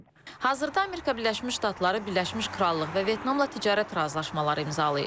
Hazırda Amerika Birləşmiş Ştatları Birləşmiş Krallıq və Vyetnamla ticarət razılaşmaları imzalayıb.